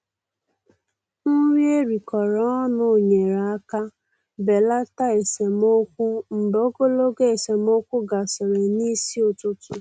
Nri erikọrọ ọnụ nyere aka belata esemokwu mgbe ogologo esemokwu gasịrị n'isi ụtụtụ.